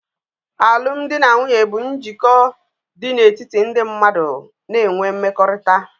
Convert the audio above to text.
Alụmdi na nwunye bụ njikọ dị n'etiti ndị mmadụ na'ewe mmekọrịta